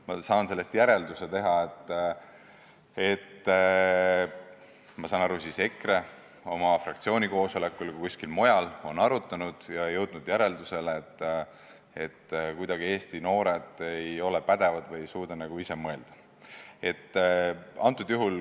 Ma saan sellest teha järelduse, et EKRE kas oma fraktsiooni koosolekul või kuskil mujal on asja arutanud ja jõudnud järeldusele, et Eesti noored ei ole pädevad ega suuda ise mõelda.